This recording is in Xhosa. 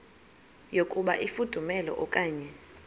yokuba ifudumele okanye